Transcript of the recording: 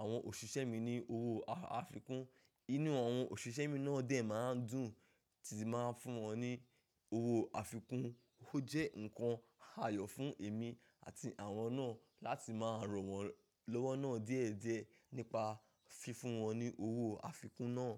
àwọn òṣìṣẹ́ mi ní owó afikún. Inú àwọn òṣìṣẹ́ mi náà dè máa ń dùn tí màá fún wọn ní owó afikún. Ó jẹ́ ǹkan àyọ̀ fún èmi àti àwọn náà láti máa rànwọ́n lọ́wọ́ náà diééduéé nípa fífún wọn ní owó afikún náà.